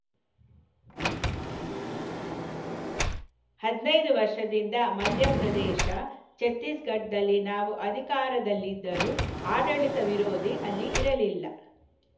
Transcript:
ಹದಿನೈದು ವರ್ಷದಿಂದ ಮಧ್ಯಪ್ರದೇಶ ಛತ್ತೀಸ್‌ಗಢದಲ್ಲಿ ನಾವು ಅಧಿಕಾರದಲ್ಲಿದ್ದರೂ ಆಡಳಿತ ವಿರೋಧಿ ಅಲೆ ಇರಲಿಲ್ಲ